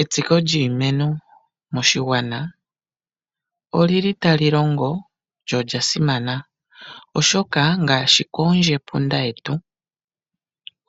Etsiko lyiimeno moshigwana oli li tali longo lyo olya simana, oshoka ngaashi koondjepunda yetu